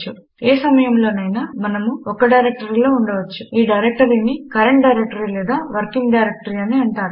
కాని ఏ సమయములోనైనా మనము ఒక్క డైరెక్టరీలో ఉండవచ్చు మరియు ఈ డైరెక్టరీని కరెంట్ డైరెక్టరీ లేక వర్కింగ్ డైరెక్టరీ అని అంటారు